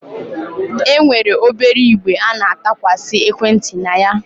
E nwere obere igbe a na-atụkwasị ekwenti na ya.